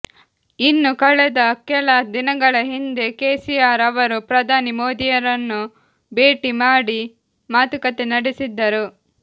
ಇನ್ನು ಕಳೆದ ಕೆಲ ದಿನಗಳ ಹಿಂದೆ ಕೆಸಿಆರ್ ಅವರು ಪ್ರಧಾನಿ ಮೋದಿರನ್ನು ಭೇಟಿ ಮಾಡಿ ಮಾತುಕತೆ ನಡೆಸಿದ್ದರು